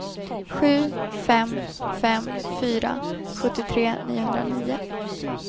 sju fem fem fyra sjuttiotre niohundranio